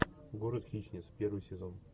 город хищниц первый сезон